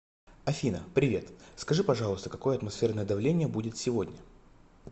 афина привет скажи пожалуйста какое атмосферное давление будет сегодня